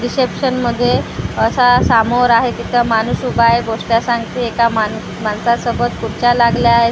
Reception मध्ये असा सामोर आहे तिथं माणूस उभा आहे गोष्ट सांगते एका माण माणसासोबत खुर्च्या लागल्या आहेत.